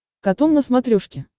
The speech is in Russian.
катун на смотрешке